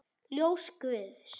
Ljós guðs.